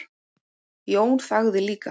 Jón þagði líka.